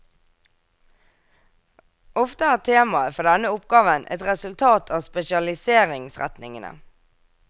Ofte er temaet for denne oppgaven et resultat av spesialiseringsretningene.